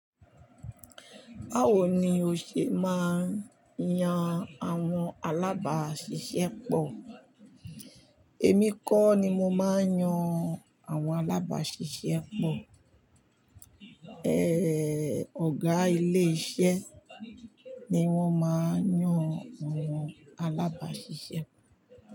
Báwo ni o ṣe máa ń yan àwọn alábàáṣiṣẹ́ pọ̀? Èmi kọ́ ni mo máa ń yan àwọn alábáṣiṣẹ́pọ̀, eh, ọ̀gá ilé iṣẹ́ ni wọ́n máa ń yàn àwọn alábáṣiṣẹ́pọ̀.